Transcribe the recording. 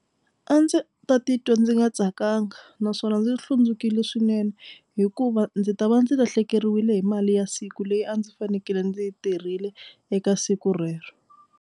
A ndzi ta titwa ndzi nga tsakanga naswona ndzi hlundzukile swinene hikuva ndzi ta va ndzi lahlekeriwile hi mali ya siku leyi a ndzi fanekele ndzi tirhile eka siku rero.